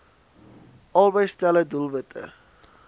albei stelle doelwitte